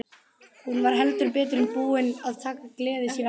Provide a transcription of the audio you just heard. Hún var heldur betur búin að taka gleði sína aftur.